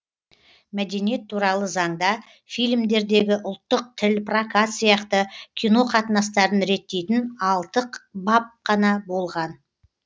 мәдениет туралы заңда фильмдердегі ұлттық тіл прокат сияқты кино қатынастарын реттейтін алтық бап қана болған